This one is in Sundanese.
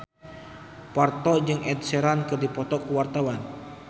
Parto jeung Ed Sheeran keur dipoto ku wartawan